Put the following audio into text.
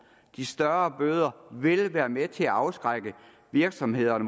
de større bøder vil være med til at afskrække virksomhederne